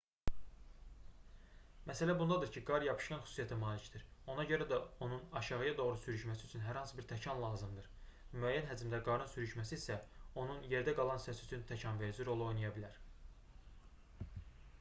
məsələ bundadır ki qar yapışqan xüsusiyyətə malikdir ona görə də onun aşağıya doğru sürüşməsi üçün hər hansı bir təkan lazımdır müəyyən həcmdə qarın sürüşməsi isə onun yerdə qalan hissəsi üçün təkanverici rolunu oynaya bilər